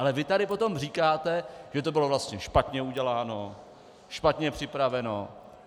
Ale vy tady potom říkáte, že to bylo vlastně špatně uděláno, špatně připraveno.